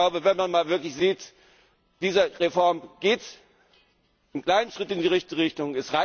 Ich glaube, wenn man mal wirklich hinsieht Diese Reform geht einen kleinen Schritt in die richtige Richtung.